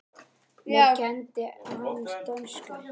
Mér kenndi hann dönsku.